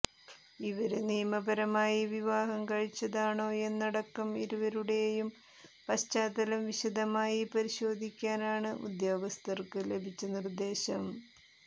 ഇവര് നിയമപരമായി വിവാഹം കഴിച്ചതാണോയെന്നതടക്കം ഇരുവരുടെയും പശ്ചാത്തലം വിശദമായി പരിശോധിക്കാനാണ് ഉദ്യോഗസ്ഥര്ക്ക് ലഭിച്ച നിര്ദേശം